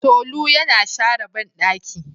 Tolu yana share bandaki.